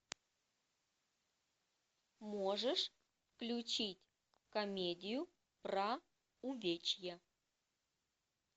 можешь включить комедию про увечья